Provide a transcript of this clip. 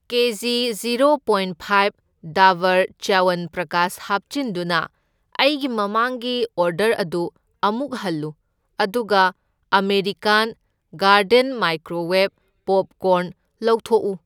ꯀꯦꯖꯤ zero point five Dabur Chyawanprash ꯍꯥꯞꯆꯤꯟꯗꯨꯅ ꯑꯩꯒꯤ ꯃꯃꯥꯡꯒꯤ ꯑꯣꯔꯗꯔ ꯑꯗꯨ ꯑꯃꯨꯛ ꯍꯜꯂꯨ ꯑꯗꯨꯒ ꯑꯃꯦꯔꯤꯀꯥꯟ ꯒꯥꯔꯗꯦꯟ ꯃꯥꯏꯀ꯭ꯔꯣꯋꯦꯕ ꯄꯣꯞꯀꯣꯔꯟ ꯂꯧꯊꯣꯛꯎ꯫